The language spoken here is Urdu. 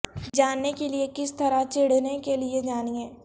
جاننے کے لئے کس طرح چڑھنے کے لئے جانیں